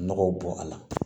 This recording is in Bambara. Nɔgɔw bɔ a la